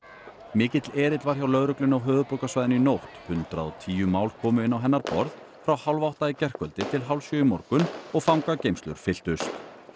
mikill erill var hjá lögreglunni á höfuðborgarsvæðinu í nótt hundrað og tíu mál komu inn á hennar borð frá hálfátta í gærkvöld til hálfsjö í morgun og fangageymslur fylltust